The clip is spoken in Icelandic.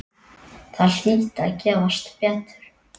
Það hlyti að gefast betur.